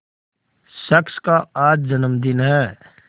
शख्स का आज जन्मदिन है